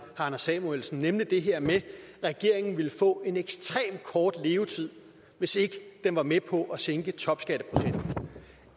anders samuelsen nemlig det her med at regeringen ville få en ekstremt kort levetid hvis ikke den var med på at sænke topskatteprocenten